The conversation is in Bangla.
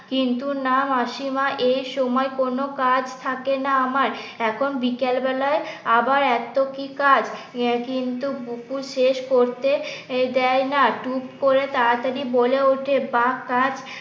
কিন্তু না মাসিমা এই সময় কোন কাজ থাকে না আমার এখন বিকেল বেলায় আবার এত কি কাজ কিন্তু বুকু শেষ করতে দেয় না টুক করে তাড়াতাড়ি বলে ওঠে বা কাজ